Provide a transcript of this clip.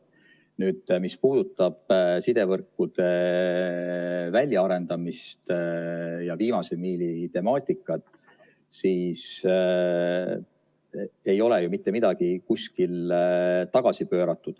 Nüüd, mis puudutab sidevõrkude väljaarendamist ja viimase miili temaatikat, siis ei ole ju mitte midagi kuskil tagasi pööratud.